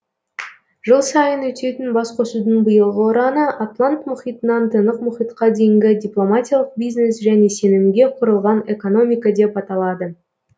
жыл сайын өтетін басқосудың биылғы ұраны атлант мұхитынан тынық мұхитқа дейінгі дипломатиялық бизнес және сенімге құрылған экономика деп аталады